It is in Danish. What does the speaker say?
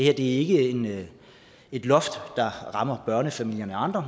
er ikke et loft der rammer børnefamilier og andre